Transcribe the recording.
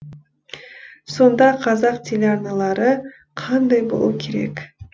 сонда қазақ телеарналары қандай болу керек